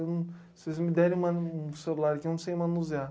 Um. Vocês me derem uma, um celular, eu não sei manusear.